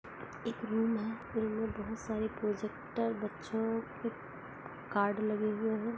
एक रूम है रूम में बहुत सारी प्रोजेक्टर बच्चों कार्ड लगे हुए है।